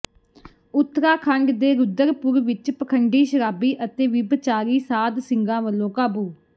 ਉਤਰਾਖੰਡ ਦੇ ਰੁਦਰਪੁਰ ਵਿੱਚ ਪਖੰਡੀ ਸ਼ਰਾਬੀ ਅਤੇ ਵਿਭਚਾਰੀ ਸਾਧ ਸਿੰਘਾਂ ਵਲੋਂ ਕਾਬੂ